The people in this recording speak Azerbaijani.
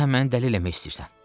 Sən məni dəli eləmək istəyirsən.